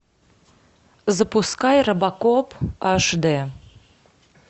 запускай робокоп аш дэ